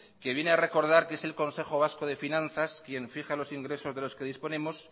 que viene a recordar que es el consejo vasco de finanzas quien fija los ingresos de los que disponemos